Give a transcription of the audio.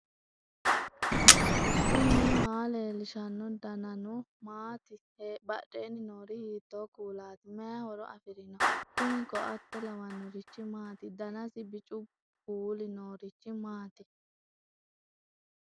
knuni maa leellishanno ? danano maati ? badheenni noori hiitto kuulaati ? mayi horo afirino ? kuni koate lawannnorichi maati danasi bicu kuuuli noriichi maati